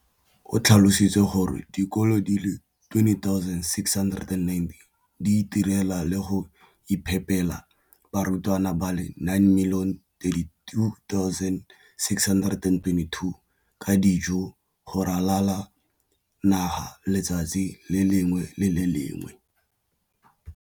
O tlhalositse gore dikolo di le 20 619 di itirela le go iphepela barutwana ba le 9 032 622 ka dijo go ralala naga letsatsi le lengwe le le lengwe.